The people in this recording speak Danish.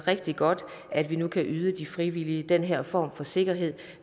rigtig godt at vi nu kan yde de frivillige den her form for sikkerhed